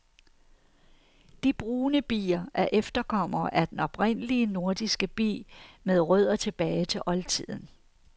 De brune bier er efterkommere af den oprindelige nordiske bi med rødder tilbage til oldtiden.